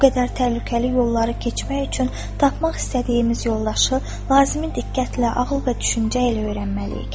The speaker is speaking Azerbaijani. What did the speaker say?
Bu qədər təhlükəli yolları keçmək üçün tapmaq istədiyimiz yoldaşı lazımi diqqətlə, ağıl və düşüncə ilə öyrənməliyik.